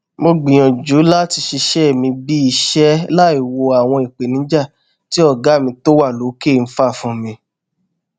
mo gbìyànjú láti ṣiṣẹ mi bíi iṣẹ láìwo àwọn ìpènijà tí ọgá mi tó wà lókè ń fà fún mi